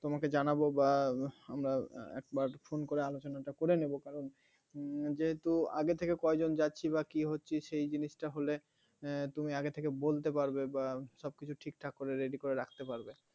তোমাকে জানাবো বা আমরা একবার phone করে আলোচনাটা করে নেব কারণ যেহেতু আগে থেকে কয়েকজন যাচ্ছি বা কী হচ্ছে সেই জিনিসটা হলে তুমি আগে থেকে বলতে পারবে বা সব কিছু ঠিকঠাক করে ready করে রাখতে পারবে